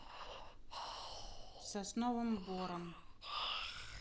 сосновым бором